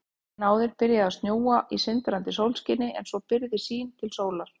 Daginn áður byrjaði að snjóa í sindrandi sólskini en svo byrgði sýn til sólar.